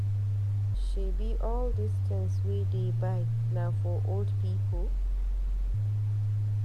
Shebi all dis tins we dey buy na for old people?